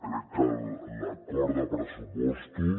crec que l’acord de pressupostos